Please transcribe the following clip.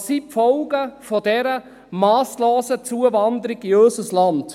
Welches sind die Folgen, die Folgen dieser masslosen Zuwanderung in unser Land?